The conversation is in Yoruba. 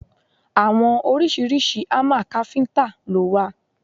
Àwọn oríṣiríṣi hámà káfíntà lo wà.